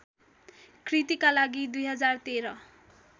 कृतिका लागि २०१३